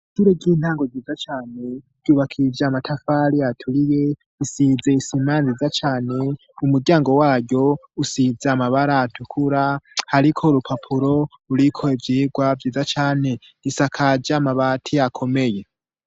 Ishure ry'intango ryiza cane ryubakije amatafari aturiye, isize isima nziza cane, umuryango waryo usize amabara atukura, hariko urupapuro ruriko ivyigwa vyiza cane, risakaje amabati akomeye.